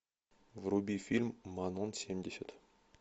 вруби фильм манон семьдесят